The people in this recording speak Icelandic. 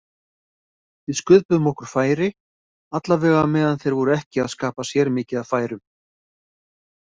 Við sköpuðum okkur færi allavega meðan þeir voru ekki að skapa sér mikið af færum.